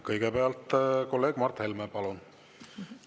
Kõigepealt kolleeg Mart Helme, palun!